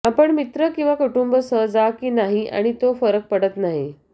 आपण मित्र किंवा कुटुंब सह जा की नाही आणि तो फरक पडत नाही